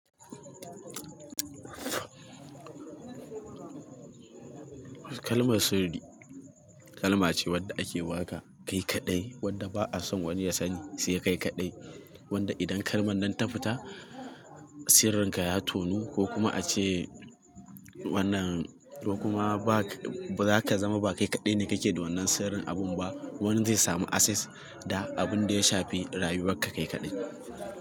Kalmar sirri kalma ce wadda ake baka kai kaɗai wadda ba a son wani ya sani sai kai kaɗai. Wanda idan kalmar nan ta fita sirrinka ya tonu ko kuma ace wannan, ko kuma baza ka zama ba kai kaɗai ne kake da wannan sirrin abun ba. Wani zai samu access da abunda ya shafi rayuwar ka kai kaɗai.